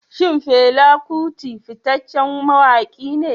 Shin Fela Kuti fitaccen mawaki ne?